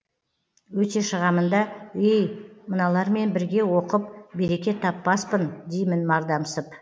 өте шығамын да ей мыналармен бірге оқып береке таппаспын деймін мардамсып